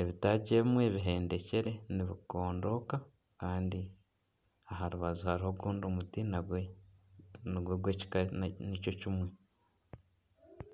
Ebitaagi ebimwe bihendekire nibikondooka. Kandi aha rubaju hariho ogundi muti nagwo nigwo gw'ekika nikyo kimwe.